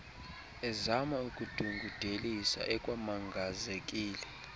ezama ukudungudelisa ekwamangazekile